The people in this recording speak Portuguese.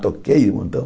Toquei um montão.